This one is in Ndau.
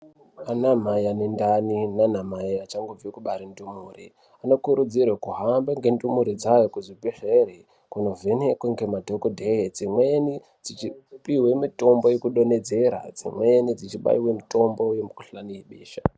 Anamai ane ndani nana mhayi achangobve kubare ndumure anokurudzirwe kuhamba nendumure dzayo kuenda kuzvibhedhlere kunovhenekwe ngemadhokodheya dzimweni dzichipihwe mitombo yekudhonhedzera dzimweni dzibaiwe mutombo wemukhuhlani webesha.